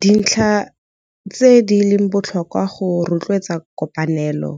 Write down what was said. Dintlha tse di leng botlhokwa go rotloetsa kopanelo